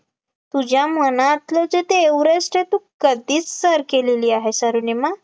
तुझ्या मनातले जे ते एव्हरेस्ट आहे ते तू कधीच सर केले आहे अरुणिमा